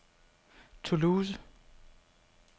Toulouse